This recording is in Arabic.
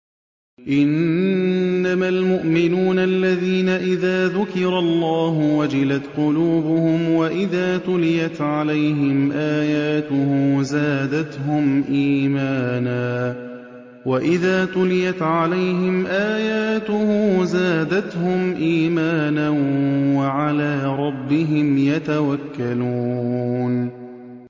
إِنَّمَا الْمُؤْمِنُونَ الَّذِينَ إِذَا ذُكِرَ اللَّهُ وَجِلَتْ قُلُوبُهُمْ وَإِذَا تُلِيَتْ عَلَيْهِمْ آيَاتُهُ زَادَتْهُمْ إِيمَانًا وَعَلَىٰ رَبِّهِمْ يَتَوَكَّلُونَ